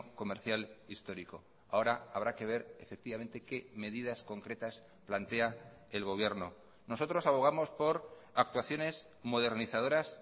comercial histórico ahora habrá que ver efectivamente qué medidas concretas plantea el gobierno nosotros abogamos por actuaciones modernizadoras